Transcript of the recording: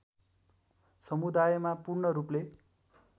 समुदायमा पूर्ण रूपले